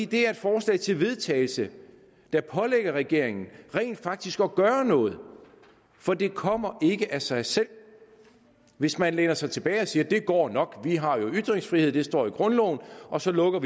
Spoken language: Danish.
det er et forslag til vedtagelse der pålægger regeringen rent faktisk at gøre noget for det kommer ikke af sig selv hvis man læner sig tilbage og siger at det går nok for vi har ytringsfrihed og det står i grundloven og så lukker